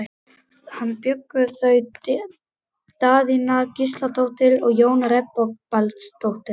Þarna bjuggu þau Daðína Gísladóttir og Jón Reginbaldsson.